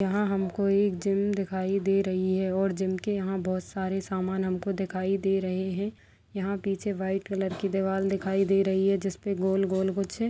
यहाँ हमको एक जिम दिखाई दे रही है और जिम के यहाँ बहुत सारे सामान हमको दिखाई दे रहे है यहाँ पीछे व्हाइट कलर की दीवार दिखाई दे रही है जिसपे गोल-गोल कुछ--